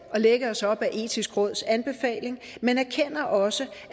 at lægge os op ad det etiske råds anbefaling men erkender også